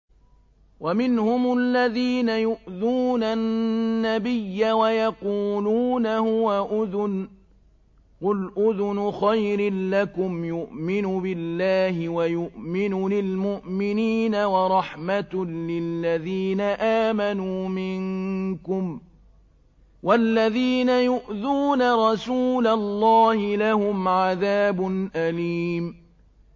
وَمِنْهُمُ الَّذِينَ يُؤْذُونَ النَّبِيَّ وَيَقُولُونَ هُوَ أُذُنٌ ۚ قُلْ أُذُنُ خَيْرٍ لَّكُمْ يُؤْمِنُ بِاللَّهِ وَيُؤْمِنُ لِلْمُؤْمِنِينَ وَرَحْمَةٌ لِّلَّذِينَ آمَنُوا مِنكُمْ ۚ وَالَّذِينَ يُؤْذُونَ رَسُولَ اللَّهِ لَهُمْ عَذَابٌ أَلِيمٌ